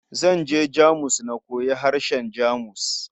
Zan je Jamus na koyi harshen Jamus.